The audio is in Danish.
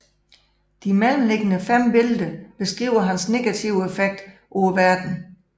De mellemliggende fem billeder beskriver hans negative effekt på verdenen